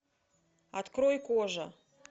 открой кожа